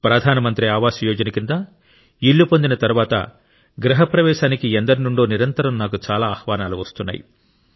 ప్రధాన మంత్రి ఆవాస్ యోజన కింద ఇల్లు పొందిన తరువాత గృహ ప్రవేశానికి ఎందరి నుండో నిరంతరం నాకు చాలా ఆహ్వానాలు వస్తున్నాయి